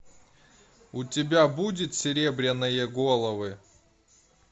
у тебя будет серебряные головы